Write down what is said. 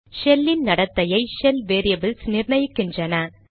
shell இன் நடத்தையை shell variables நிர்ணயிக்கின்றன